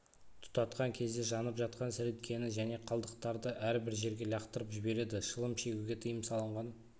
тұтатқан кезде жанып жатқан сіріңкені және қалдықтарды әрбір жерге лақтырып жібереді шылым шегуге тиым салынған